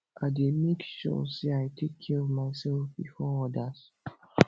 i dey make sure say i take care of myself before odas